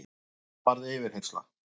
Það varð yfirheyrsla.